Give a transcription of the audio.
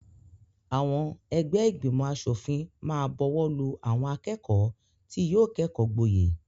Àwọn ẹgbẹ́ ìgbìmọ̀-aṣòfìn máa bọwọ́lù àwọn akẹ́kọ̀ọ́ tí yóò kẹ́kọ̀ọ́ gboyè.